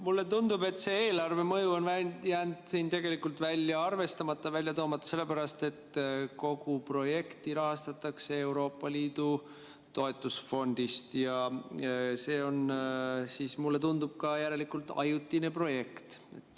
Mulle tundub, et see eelarvemõju on jäänud välja arvestamata, välja toomata, sellepärast et kogu projekti rahastatakse Euroopa Liidu toetusfondist ja see on siis, mulle tundub, järelikult ajutine projekt.